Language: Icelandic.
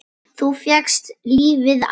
Þú fékkst lífið aftur.